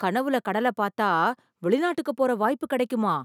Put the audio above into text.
கனவுல கடலைப் பார்த்தா, வெளிநாட்டுக்கு போற வாய்ப்பு கெடைக்குமா...